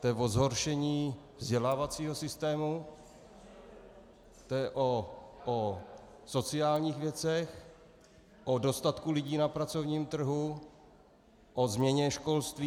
To je o zhoršení vzdělávacího systému, to je o sociálních věcech, o dostatku lidí na pracovním trhu, o změně školství.